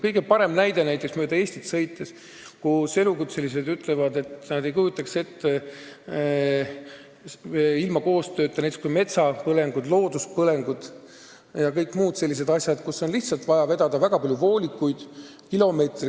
Kõige parem näide: mööda Eestit sõites olen elukutselistelt kuulnud, et nad ei kujutaks oma tööd ette ilma koostööta vabatahtlikega, kui on metsapõlengud ja muud looduspõlengud, mille kustutamiseks on vaja kilomeetrite kaupa voolikuid vedada.